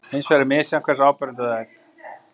Hins vegar er misjafnt hversu áberandi það er.